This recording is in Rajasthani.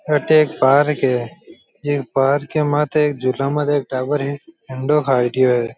अठ एक पार्क है इ पार्क के माथे एक झूला माथे एक टाबर है झंडो खड़ियो है।